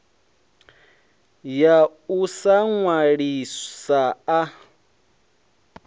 ya u sa nwalisa a